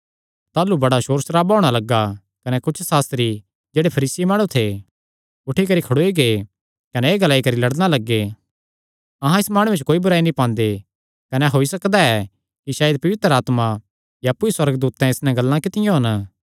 ताह़लू बड़ा सोर सराबा होणा लग्गा कने कुच्छ सास्त्री जेह्ड़े फरीसी माणु थे उठी करी खड़ोई गै कने एह़ ग्लाई करी लड़णा लग्गे अहां इस माणुये च कोई बुराई नीं पांदे कने होई सकदा ऐ कि सायद पवित्र आत्मा या अप्पु सुअर्गदूतैं इस नैं गल्लां कित्तियां होन